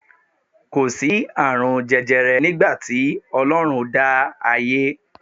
Kò sí àrùn jẹjẹrẹ nígbà tí Ọlọ́run dá ayé